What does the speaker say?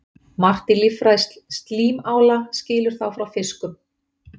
Margt í líffræði slímála skilur þá frá fiskum.